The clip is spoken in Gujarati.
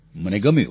મને ગમ્યું